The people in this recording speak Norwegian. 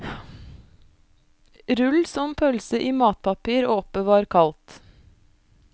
Rull som pølse i matpapir og oppbevar kaldt.